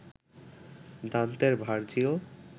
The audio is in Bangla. দান্তের ভার্জিল